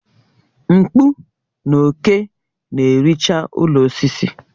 Mkpụ na òké na-ericha ụlọ osisi